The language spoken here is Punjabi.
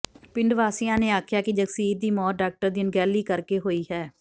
ਪਿੰਡ ਵਾਸੀਆਂ ਨੇ ਆਖਿਆ ਕਿ ਜਗਸੀਰ ਦੀ ਮੌਤ ਡਾਕਟਰ ਦੀ ਅਣਗਹਿਲੀ ਕਰਕੇ ਹੋਈ ਹੈ